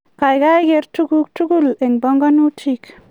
kaokai ker tuguk tugul eng panganutik